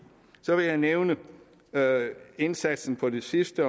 så vil jeg nævne indsatsen på det sidste